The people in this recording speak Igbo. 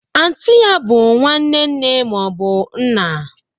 Anti ya bụ nwanne nne ma ọ bụ nna.